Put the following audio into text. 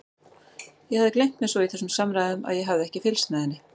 Ég hafði gleymt mér svo í þessum samræðum að ég hafði ekki fylgst með henni.